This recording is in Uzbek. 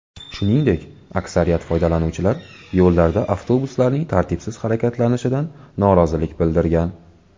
Shuningdek, aksariyat foydalanuvchilar yo‘llarda avtobuslarning tartibsiz harakatlanishidan norozilik bildirgan.